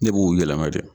Ne b'u yɛlɛma dɛ